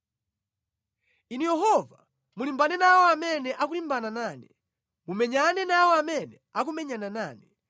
Inu Yehova, mulimbane nawo amene akulimbana nane; mumenyane nawo amene akumenyana nane.